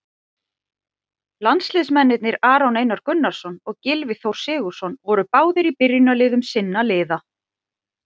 Landsliðsmennirnir Aron Einar Gunnarsson og Gylfi Þór Sigurðsson voru báðir í byrjunarliðum sinna liða.